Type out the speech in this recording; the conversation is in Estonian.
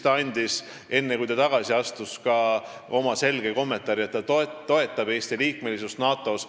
Ta andis, enne kui ta tagasi astus, oma selge kommentaari, et ta toetab Eesti liikmesust NATO-s.